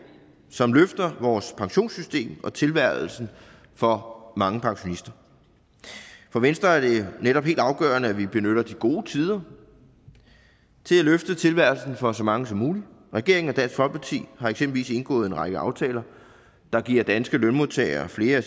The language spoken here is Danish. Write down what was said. som løfter vores pensionssystem og tilværelsen for mange pensionister for venstre er det netop helt afgørende at vi benytter de gode tider til at løfte tilværelsen for så mange som muligt regeringen og dansk folkeparti har eksempelvis indgået en række aftaler der giver danske lønmodtagere flere af